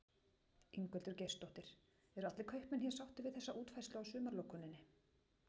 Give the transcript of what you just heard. Ingveldur Geirsdóttir: Eru allir kaupmenn hér sáttir við þessa útfærslu á sumarlokuninni?